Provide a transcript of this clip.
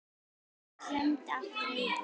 Hann klemmdi aftur augun